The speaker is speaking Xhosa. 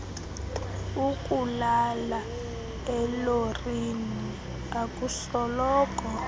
ukulala elorini akusoloko